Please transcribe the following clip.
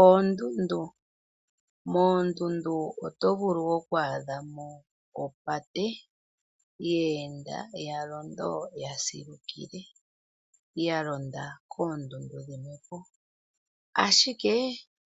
Oondundu Moondundu oto vulu oku adha mo opate, ye enda ya londo ya silukile. Ya londa koondundu dhimwe po, ashike